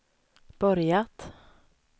börjat